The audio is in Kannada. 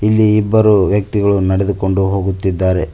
ಇಲ್ಲಿ ಇಬ್ಬರು ವ್ಯಕ್ತಿಗಳು ನಡೆದುಕೊಂಡು ಹೋಗುತ್ತಿದ್ದಾರೆ.